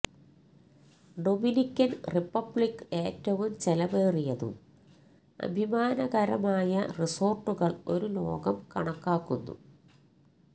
Dominican Republic ഏറ്റവും ചെലവേറിയതും അഭിമാനകരമായ റിസോർട്ടുകൾ ഒരു ലോകം കണക്കാക്കുന്നു